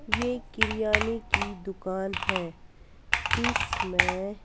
ये किरियानी की दुकान है इसमै --